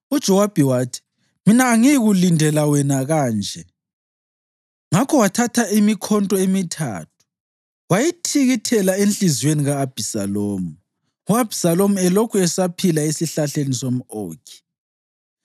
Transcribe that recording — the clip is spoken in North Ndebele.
UJowabi wathi, “Mina angiyikulindela wena kanje.” Ngakho wathatha imikhonto emithathu wayitikitela enhliziyweni ka-Abhisalomu, u-Abhisalomu elokhu esaphila esesihlahleni somʼOkhi.